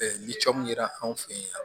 ni cɔmu yera anw fɛ yen